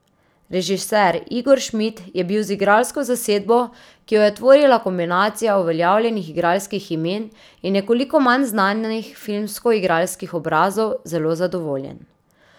Režiser Igor Šmid je bil z igralsko zasedbo, ki jo je tvorila kombinacija uveljavljenih igralskih imen in nekoliko manj znanih filmsko igralskih obrazov, zelo zadovoljen.